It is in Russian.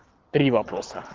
три вопроса